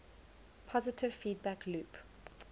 positive feedback loop